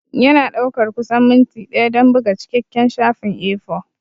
Yana ɗaukar kusan minti ɗaya don buga cikakken shafin A4.